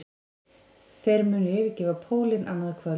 Þeir munu yfirgefa pólinn annað kvöld